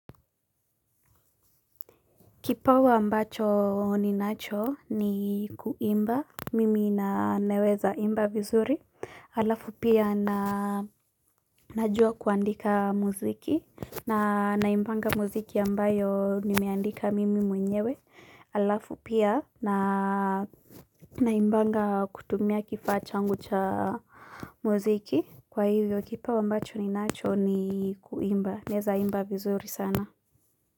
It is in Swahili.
Kipawa ambacho ninacho ni kuimba, mimi na, naweza imba vizuri, halafu pia na najua kuandika muziki, na naimbanga muziki ambayo nimeandika mimi mwenyewe, halafu pia na naimbanga kutumia kifaa changu cha muziki, kwa hivyo kipawa ambacho ninacho ni kuimba, naeza imba vizuri sana.